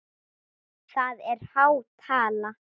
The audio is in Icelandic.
Það er há tala.